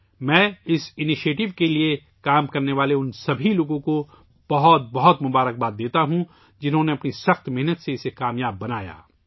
میں اس اقدام کے لئے کام کرنے والے تمام لوگوں کو مبارکباد پیش کرتا ہوں، جنہوں نے اپنی انتھک محنت سے اسے کامیاب بنایا